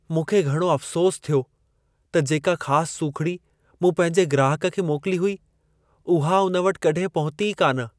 मूंखे घणो अफ़सोसु थियो त जेका ख़ासु सूखिड़ी मूं पंहिंजे ग्राहक खे मोकिली हुई, उहो हुन वटि कड॒हिं पहुतो ई कान!